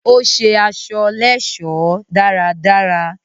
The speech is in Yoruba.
Ó ṣe aṣọ lẹ́ẹ̀sọ́ dáradára